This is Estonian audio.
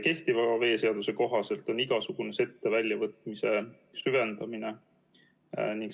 Kehtiva veeseaduse kohaselt on igasugune sette väljavõtmine süvendamine.